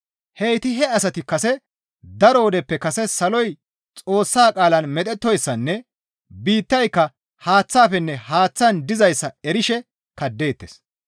Heyti he asati kase daro wodeppe kase saloy Xoossa qaalan medhettoyssanne biittayka haaththafenne haaththan dizayssa erishe kaddeettes.